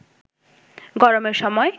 গরমের সময়